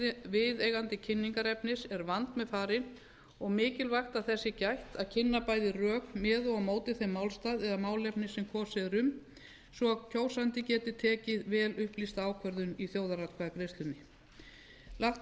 viðeigandi kynningarefnis er vandmeðfarin og mikilvægt að þess sé gætt að kynna bæði rök með og á móti þeim málstað eða málefni sem kosið er um svo kjósandi geti tekið vel upplýsta ákvörðun í þjóðaratkvæðagreiðslunni lagt